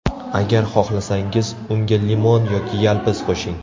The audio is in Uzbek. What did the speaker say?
Agar xohlasangiz, unga limon yoki yalpiz qo‘shing.